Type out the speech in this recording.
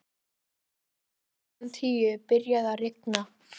Rétt fyrir klukkan tíu byrjaði að rigna.